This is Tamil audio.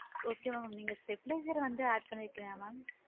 Okay madam நீங்க stabiliser வந்து add பண்ணி இருகிங்களா madam